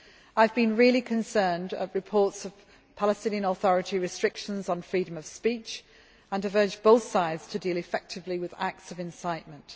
levels. I have been really concerned at reports of Palestinian Authority restrictions on freedom of speech and have urged both sides to deal effectively with acts of incitement.